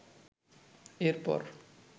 এর পর